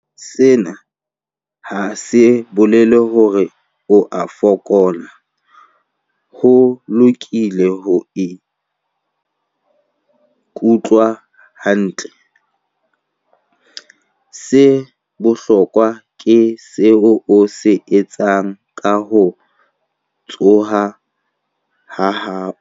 Sena ha se bolele hore o a fokola. Ho lokile ho se ikutlwe hantle. Se bohlokwa ke seo o se etsang ka ho tshoha ha hao.